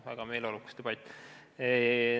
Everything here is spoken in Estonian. Väga meeleolukas debatt.